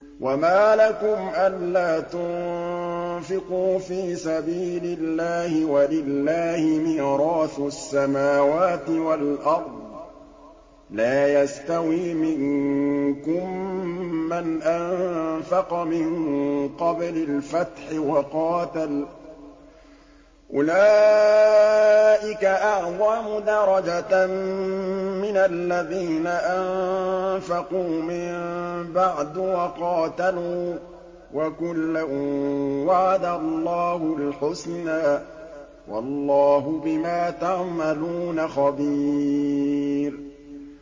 وَمَا لَكُمْ أَلَّا تُنفِقُوا فِي سَبِيلِ اللَّهِ وَلِلَّهِ مِيرَاثُ السَّمَاوَاتِ وَالْأَرْضِ ۚ لَا يَسْتَوِي مِنكُم مَّنْ أَنفَقَ مِن قَبْلِ الْفَتْحِ وَقَاتَلَ ۚ أُولَٰئِكَ أَعْظَمُ دَرَجَةً مِّنَ الَّذِينَ أَنفَقُوا مِن بَعْدُ وَقَاتَلُوا ۚ وَكُلًّا وَعَدَ اللَّهُ الْحُسْنَىٰ ۚ وَاللَّهُ بِمَا تَعْمَلُونَ خَبِيرٌ